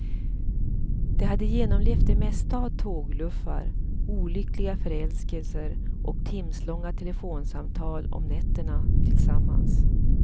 De hade genomlevt det mesta av tågluffar, olyckliga förälskelser och timslånga telefonsamtal om nätterna tillsammans.